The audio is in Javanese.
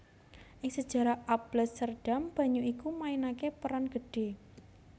Ing sejarah Alblasserdam banyu iku mainaké peran gedhé